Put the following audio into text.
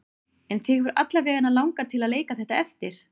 En þig hefur alla vega langað til að leika þetta eftir?